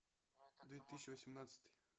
две тысячи восемнадцать